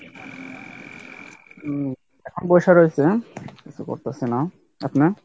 উম এখন বইসা রয়েছি কিছু করতেসি না আপনি?